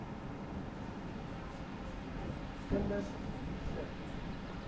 kinders wie se